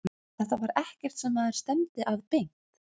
Þetta var ekkert sem maður stefndi að beint.